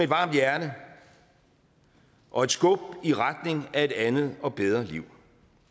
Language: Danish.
varmt hjerte og et skub i retning af et andet og bedre liv